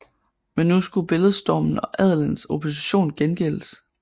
Men nu skulle billedstormen og adelens opposition gengældes